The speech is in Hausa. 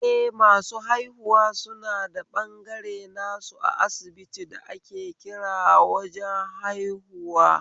Eh, masu haihuwa suna da ɓangare nasu a asibiti da ake kira wajen haihuwa